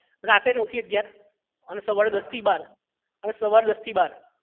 રાતે નવ થી અગિયાર અને સવારે દસ થી બાર અને સવારે દસ થી બાર